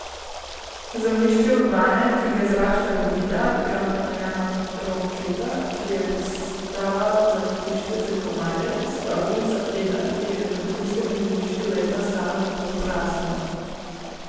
Zemljišče Urbane, ki ga zarašča robida, gradbena jama Ronketa, ki je postala zavetišče za komarje, stolpnica Eda, ki je na vrhunskem zemljišču leta stala na pol prazna.